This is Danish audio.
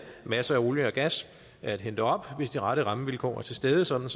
masser af olie og gas at hente op hvis de rette rammevilkår er til stede sådan